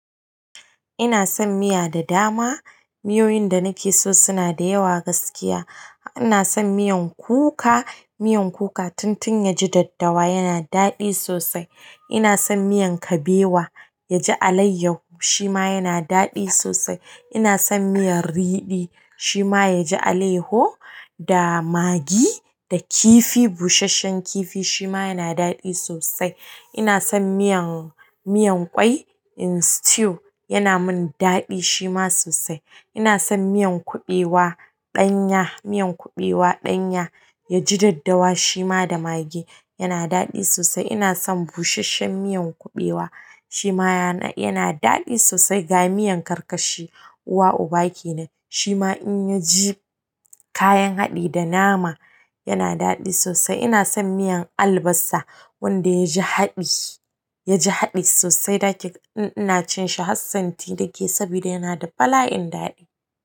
Ina son miya da dama. Miyoyin da na ke so suna da yawa gaskiya. Ina son miyan kuka. Miyan kuka tun tun ya ji daddawa yana daɗi sosai. Ina son miyan kabewa ya ji alaiyahu shima yana daɗi sosai. Ina son miyar riɗi shima ya ji alaiyaju da maggi da kifi busasshen kifi shima yana daɗi sosai. Ina son miyan miyan ƙwai in stew yana min daɗi shima sosai. Ina son miya kuɓewa ɗanya, miyan kuɓewa ɗanya ya ji daddawa shima da maggi yana daɗi sosai ina son busasshen miyan kuɓewa shima ya, yana daɗi sosai. Ga miyan karkashi uwa-uba kenan, shima in ya ji kayan haɗi da nama yana daɗi sosai. Ina son miyan albasa wanda ya ji haɗi, ya ji haɗi sosai. Da ke ina cin shi hassanti nake saboda yana da bala'in daɗi.